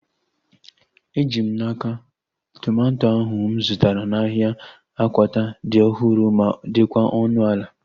Eji m n'aka, tomato ahu mụ zụtara n'ahia Akwata dị ọhụrụ ma dịkwa ọnụ ala